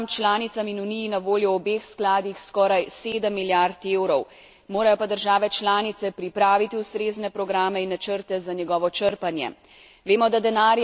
Skupno bo državam članicam in Uniji na voljo v obeh skladih skoraj sedem milijard evrov, morajo pa države članice pripraviti ustrezne programe in načrte za njegovo črpanje.